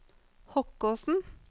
Hokkåsen